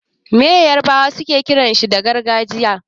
Me yarbawa suke kiran ashirin da gargajiya?